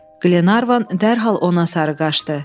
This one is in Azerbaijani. Qlenarvan dərhal ona sarı qaçdı.